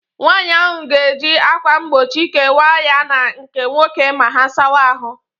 Nwaanyị ahụ ga-eji akwa mgbochi kewaa ya na nke nwoke ma ha sawa ahụ